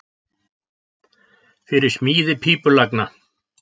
Fyrir smíði pípulagna